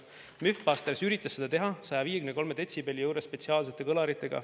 MythBusters üritas seda teha 153 detsibelli juures spetsiaalsete kõlaritega.